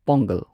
pongal